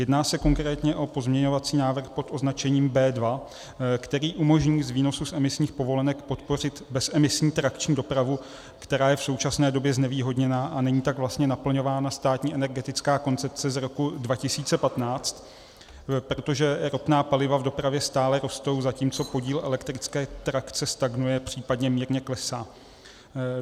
Jedná se konkrétně pozměňovací návrh pod označením B2, který umožní z výnosu z emisních povolenek podpořit bezemisní trakční dopravu, která je v současné době znevýhodněna, a není tak vlastně naplňována státní energetická koncepce z roku 2015, protože ropná paliva v dopravě stále rostou, zatímco podíl elektrické trakce stagnuje, případně mírně klesá.